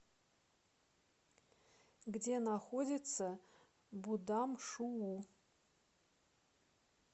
где находится будамшуу